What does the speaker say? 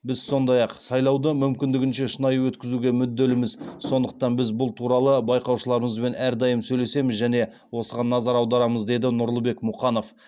біз сондай ақ сайлауды мүмкіндігінше шынайы өткізуге мүдделіміз сондықтан біз бұл туралы байқаушыларымызбен әрдайым сөйлесеміз және осыған назар аударамыз деді нұрлыбек мұқанов